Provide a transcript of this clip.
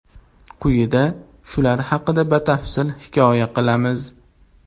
Quyida shular haqida batafsil hikoya qilamiz.